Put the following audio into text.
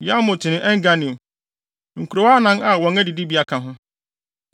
Yarmut ne En-Ganim, nkurow anan a wɔn adidibea ka ho.